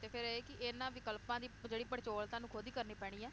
ਤੇ ਫੇਰ ਇਹ ਕਿ ਇਹਨਾਂ ਵਿਕਲਪਾਂ ਦੀ ਜਿਹੜੀ ਪੜਚੋਲ ਤੁਹਾਨੂੰ ਖੁਦ ਈ ਕਰਨੀ ਪੈਣੀ ਏ